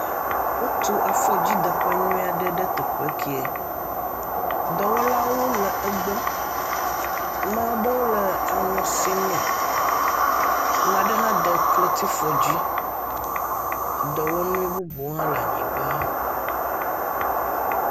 Wotu afɔdzideƒenyuie aɖe ɖe teƒe kee, dɔwɔlawo le egbɔ, dɔwɔla aɖewo nɔ aŋɔ sim ne. Ame aɖe hã de kletifɔ dzi, dɔwɔnuwo hã le anyigba.